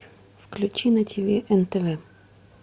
включи на тв нтв